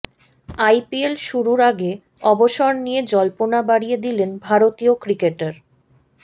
IPL শুরুর আগে অবসর নিয়ে জল্পনা বাড়িয়ে দিলেন ভারতীয় ক্রিকেটার